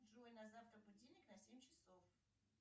джой на завтра будильник на семь часов